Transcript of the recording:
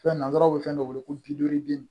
Fɛn na nsɛrɛw bɛ fɛn dɔ wele ko bi duuru